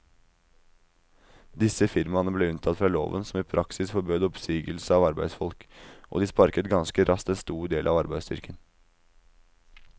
Disse firmaene ble unntatt fra loven som i praksis forbød oppsigelse av arbeidsfolk, og de sparket ganske raskt en stor del av arbeidsstyrken.